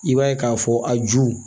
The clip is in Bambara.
I b'a ye k'a fɔ a ju